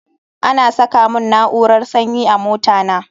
Ana saka mun na'urar sanyi a cikin mota na.